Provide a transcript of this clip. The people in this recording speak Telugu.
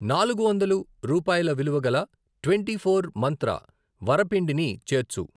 నాలుగు వందలు రూపాయల విలువ గల ట్వెంటీఫోర్ మంత్ర వరిపిండి ని చేర్చు.